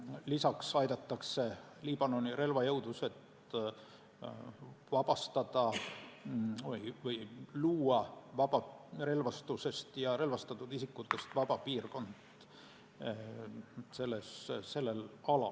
Lisaks aidatakse Liibanoni relvajõududel luua relvastusest ja relvastatud isikutest vaba piirkond sellel alal.